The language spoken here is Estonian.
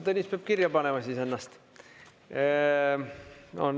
Tõnis, peab kirja panema siis ennast.